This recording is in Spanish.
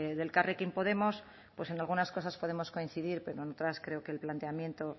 de elkarrekin podemos pues en algunas cosas podemos coincidir pero en otras creo que el planteamiento